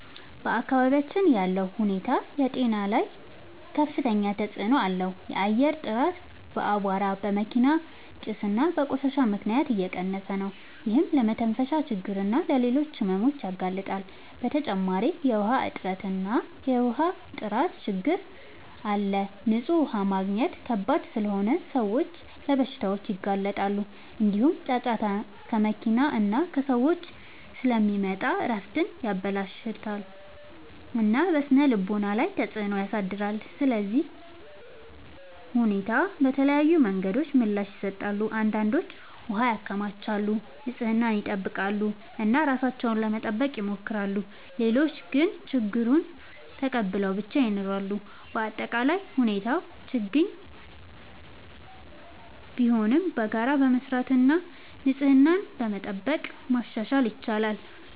በአካባቢያችን ያለው ሁኔታ በጤና ላይ ከፍተኛ ተጽዕኖ አለው። የአየር ጥራት በአቧራ፣ በመኪና ጭስ እና በቆሻሻ ምክንያት እየቀነሰ ነው፤ ይህም ለመተንፈሻ ችግኝ እና ለሌሎች ሕመሞች ያጋልጣል። በተጨማሪ የውሃ እጥረት እና የውሃ ጥራት ችግኝ አለ፤ ንጹህ ውሃ ማግኘት ከባድ ስለሆነ ሰዎች ለበሽታዎች ይጋለጣሉ። እንዲሁም ጫጫታ ከመኪና እና ከሰዎች ስለሚመጣ እረፍትን ያበላሽታል እና በስነ-ልቦና ላይ ተጽዕኖ ያሳድራል። ሰዎች ለዚህ ሁኔታ በተለያዩ መንገዶች ምላሽ ይሰጣሉ። አንዳንዶች ውሃ ያከማቻሉ፣ ንጽህናን ይጠብቃሉ እና ራሳቸውን ለመጠበቅ ይሞክራሉ። ሌሎች ግን ችግኙን ተቀብለው ብቻ ይኖራሉ። በአጠቃላይ ሁኔታው ችግኝ ቢሆንም በጋራ በመስራት እና ንጽህናን በመጠበቅ ማሻሻል ይቻላል።